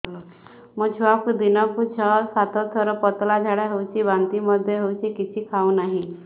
ମୋ ଛୁଆକୁ ଦିନକୁ ଛ ସାତ ଥର ପତଳା ଝାଡ଼ା ହେଉଛି ବାନ୍ତି ମଧ୍ୟ ହେଉଛି କିଛି ଖାଉ ନାହିଁ